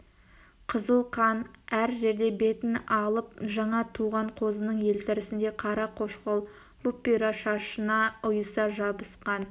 қызыл қан әр жерде бетін алып жаңа туған қозының елтірісіндей қара қошқыл бұп-бұйра шашына ұйыса жабысқан